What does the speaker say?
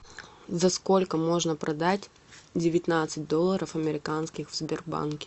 за сколько можно продать девятнадцать долларов американских в сбербанке